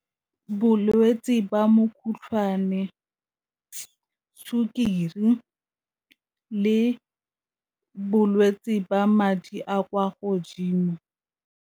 Bolwetse ba , sukiri le bolwetse ba madi a kwa godimo.